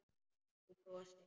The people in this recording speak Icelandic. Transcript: Þú brosir.